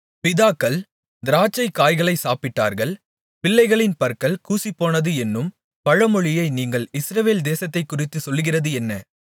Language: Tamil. பிதாக்கள் திராட்சைக்காய்களை சாப்பிட்டார்கள் பிள்ளைகளின் பற்கள் கூசிப்போனது என்னும் பழமொழியை நீங்கள் இஸ்ரவேல் தேசத்தைக்குறித்துச் சொல்லுகிறது என்ன